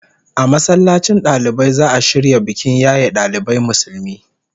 A masallacin dalibai za'a shirya bikin yaye dalibai Musulmi